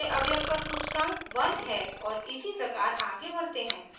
दूसरे अवयव का सूचकांक 1 है और इसी प्रकार आगे बढ़ते हैं